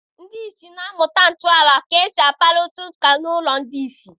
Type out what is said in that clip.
Ndị ìsì na-amụta ntọala ka esi akpakọrịta ụka n'ụlọ ndị ìsì.